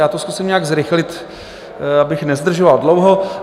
Já to zkusím nějak zrychlit, abych nezdržoval dlouho.